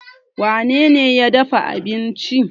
wanene ya dafa abinci?